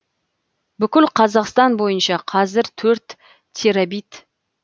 бүкіл қазақстан бойынша қазір төрт терабит